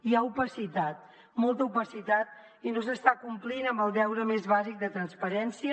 hi ha opacitat molta opacitat i no s’està complint amb el deure més bàsic de transparència